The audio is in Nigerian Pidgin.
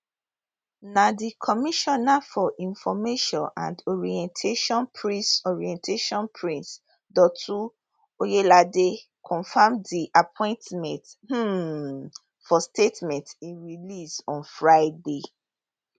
na di commissioner for information and orientation prince orientation prince dotun oyelade confam di appointment um for statement e release on friday